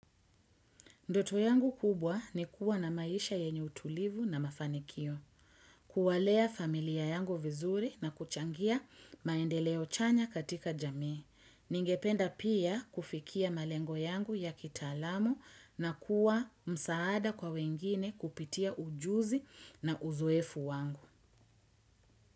Ndoto yangu kubwa ni kuwa na maisha yenye utulivu na mafanikio. Kuwalea familia yangu vizuri na kuchangia maendeleo chanya katika jamii. Ningependa pia kufikia malengo yangu ya kitaalamu na kuwa msaada kwa wengine kupitia ujuzi na uzoefu wangu.